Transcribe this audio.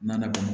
Nala